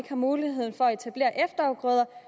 har mulighed for at etablere efterafgrøder